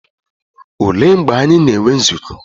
Olee mgbe anyị na-enwe nzukọ?